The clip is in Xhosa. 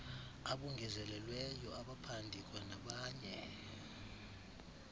abongezelelweyo abaphandi kwanabanye